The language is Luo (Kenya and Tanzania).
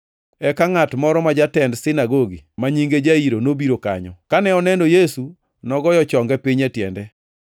Eka ngʼat moro ma jatend sinagogi ma nyinge Jairo nobiro kanyo. Kane oneno Yesu nogoyo chonge piny e tiende